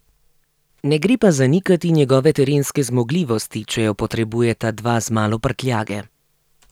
Ne gre pa zanikati njegove terenske zmogljivosti, če jo potrebujeta dva z malo prtljage.